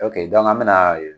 an bɛ na